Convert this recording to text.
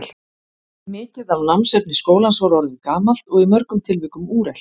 Mikið af námsefni skólans var orðið gamalt og í mörgum tilvikum úrelt.